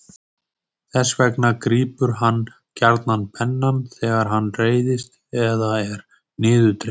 Þess vegna grípur hann gjarnan pennann þegar hann reiðist eða er niðurdreginn.